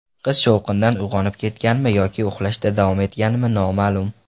Qiz shovqindan uyg‘onib ketganmi yoki uxlashda davom etganmi, noma’lum.